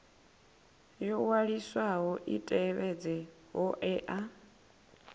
yo waliswaho i tevhedze hoea